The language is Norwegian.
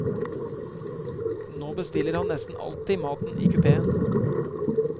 Nå bestiller han nesten alltid maten i kupéen.